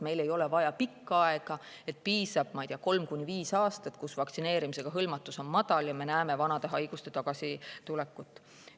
Meil ei ole vaja pikka aega, piisab kolmest kuni viiest aastast, mil vaktsineerimisega hõlmatuse tase on madal, kui me juba näeme vanade haiguste tagasitulekut.